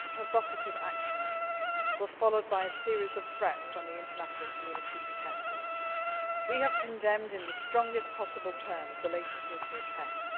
These provocative actions were followed by a series of threats when the international community protested. We have condemned in the strongest possible terms the latest nuclear tests.